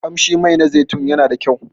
Kamshi Mai na zaitun yana da kyau.